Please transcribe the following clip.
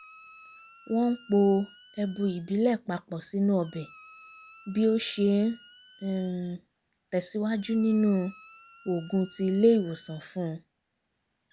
wọ́n ń po ẹbu ìbílẹ̀ papọ̀ sínú ọbẹ̀ bí ó ṣe ń um tẹ̀síwájú nínú òògùn tí ilé ìwòsàn fún un